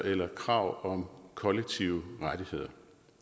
eller krav om kollektive rettigheder